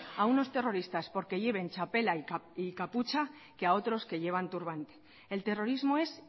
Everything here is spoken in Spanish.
a unos terroristas porque llevan txapela y capucha que a otros que llevan turbante el terrorismo es